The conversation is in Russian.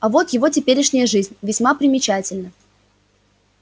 а вот его теперешняя жизнь весьма примечательна